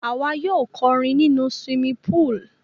À wa yio korin nínú swimming pool